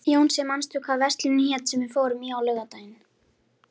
Jónsi, manstu hvað verslunin hét sem við fórum í á laugardaginn?